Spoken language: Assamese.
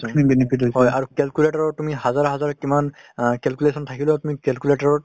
খিনি benefit হৈছে। আৰু calculator ত তুমি হাজাৰ হাজাৰ কিমান অ calculation থাকিলেও তুমি calculator ত